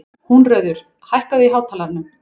Húnröður, hækkaðu í hátalaranum.